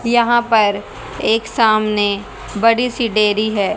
यहां पर एक सामने बड़ी सी डेयरी है।